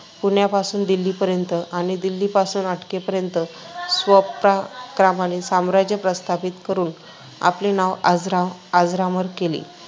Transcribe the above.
पुण्यापासून दिल्लीपर्यंत आणि दिल्लीपासून अटकेपर्यंत स्वपराक्रमाने साम्राज्य प्रस्थापित करून आपले नाव अजरा अजरामर केले.